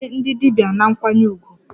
Kelee ndị dibia na nkwanye ùgwù!